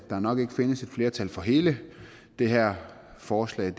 der nok ikke findes et flertal for hele det her forslag